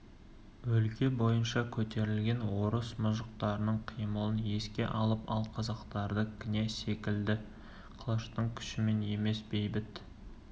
өлке бойынша көтерілген орыс мұжықтарының қимылын еске алып мен қазақтарды князь секілді қылыштың күшімен емес бейбіт